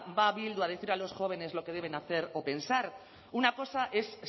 va bildu a decir a los jóvenes lo que deben hacer o pensar una cosa es